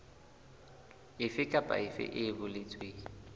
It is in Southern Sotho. efe kapa efe e boletsweng